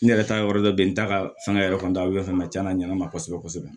N yɛrɛ ta ye yɔrɔ dɔ bɛ ye n ta ka fɛn yɔrɔ dayɛlɛ fɛn ma ca na ɲɛna ma kosɛbɛ kosɛbɛ